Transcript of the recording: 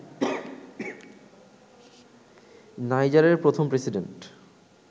নাইজারের প্রথম প্রেসিডেন্ট